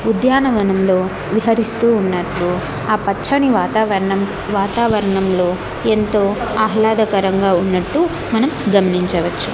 ఉద్యానవనంలో విహరిస్తూ ఉన్నట్టు ఆ పచ్చని వాతావరణం వాతావరణంలో ఎంతో ఆహ్లాదకరంగా ఉన్నట్టు మనం గమనించవచ్చు.